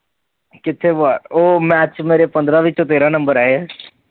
ਕਿੱਥੇ ਬਾਹਰ, ਉਹ math ਚ ਮੇਰੇ ਪੰਦਰਾਂ ਵਿੱਚੋ ਤੇਹਰਾ ਨੰਬਰ ਆਏ ਹੈ।